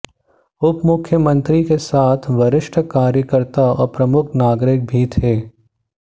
उपमुख्यमंत्री के साथ वरिष्ठ कार्यकर्ता और प्रमुख नागरिक भी थे